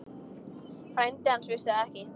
Frændi hans vissi það ekki.